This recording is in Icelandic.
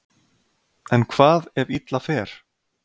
En hvað ef illa fer?